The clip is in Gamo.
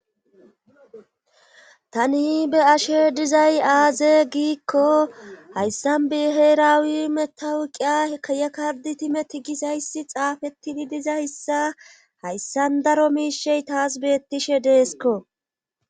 Tani be ashe dizay aaze giikko hayssan beheerawi metawu qiya kayakardi timeti gizayssi xaafeti gidizayssa hayssan daro miishey taas beettishe deesko